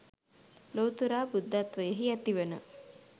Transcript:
ලොවුතුරා බුද්ධත්වයෙහි ඇතිවන